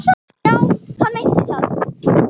Já, hann meinti það.